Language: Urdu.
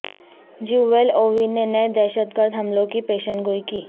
جیوول اووی نے نئے دہشت گرد حملوں کی پیشن گوئی کی